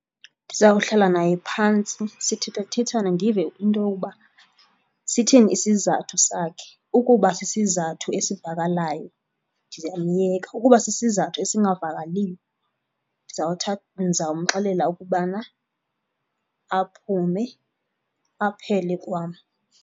Ndizawuhlala naye phantsi sithethathethane ndive into yoba sithini isizathu sakhe. Ukuba sisizathu esivakalayo ndizawumyeka, ukuba sisizathu ezingavakaliyo ndizawumxelela ukubana aphume aphele kwam.